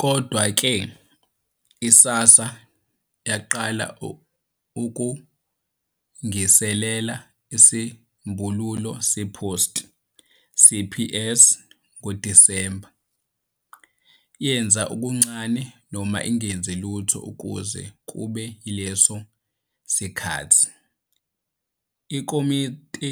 Kodwa-ke, i-SASSA yaqala ukulungiselela isisombululo se-post-CPS ngoDisemba, "yenza okuncane noma ingenzi lutho kuze kube yileso sikhathi", ikomiti